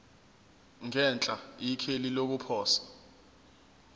ngenhla ikheli lokuposa